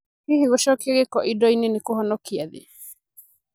Hihi gũcokia gĩko indo-inĩ nĩ kũhonokia thĩ?